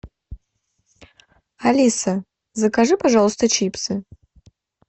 алиса закажи пожалуйста чипсы